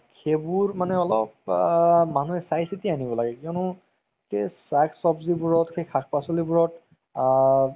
সেইবোৰ মানে অলপ আ মানুহে চাই চিতি আনিব লাগে কিয়নো সেই শাক সব্জিবোৰত সেই শাক পাচলিবোৰত আ